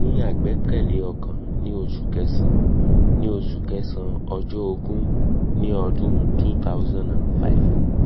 mo ní àgbékalẹ̀ ọkàn ní osu kẹsàn-án ní oṣù kẹsàn-án ọjọ́ ogún ní ọdún two thousand and five